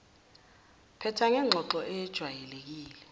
phetha ngengxoxo eyejwayelekile